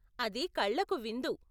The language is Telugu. అది కళ్ళకు విందు.